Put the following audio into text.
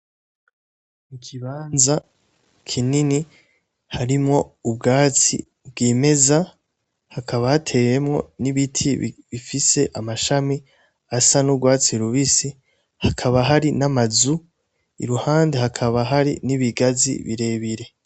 Ikibanza kinini harimwo ubwatsi bwimeza Hakaba hateyemwo n'ibiti bifise mashami asa n'urwatsi rubisi hakaba Hari n'amazu iruhande hakaba Hari n'ibigazi birebire.